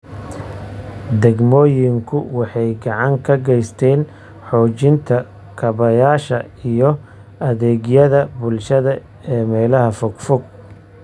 Degmooyinku waxay gacan ka geysteen xoojinta kaabayaasha iyo adeegyada bulshada ee meelaha fogfog.